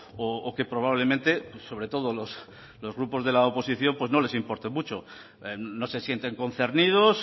o que probablemente sobre todo los grupos de la oposición pues no les importe mucho no se sienten concernidos